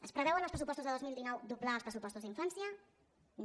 es preveu en els pressupostos de dos mil dinou doblar els pressupostos d’infància no